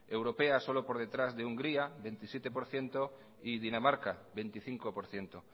europea solo por detrás de hungría veintisiete por ciento y dinamarca veinticinco por ciento